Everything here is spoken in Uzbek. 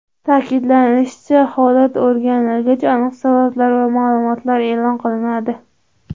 Ta’kidlanishicha, holat o‘rganilgach, aniq sabablar va ma’lumotlar e’lon qilinadi.